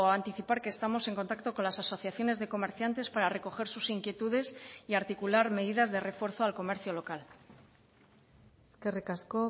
anticipar que estamos en contacto con las asociaciones de comerciantes para recoger sus inquietudes y articular medidas de refuerzo al comercio local eskerrik asko